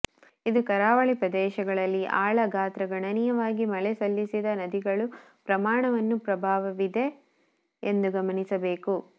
ಇದು ಕರಾವಳಿ ಪ್ರದೇಶಗಳಲ್ಲಿ ಆಳ ಗಾತ್ರ ಗಣನೀಯವಾಗಿ ಮಳೆ ಸಲ್ಲಿಸಿದ ನದಿಗಳು ಪ್ರಮಾಣವನ್ನು ಪ್ರಭಾವವಿದೆ ಎಂದು ಗಮನಿಸಬೇಕು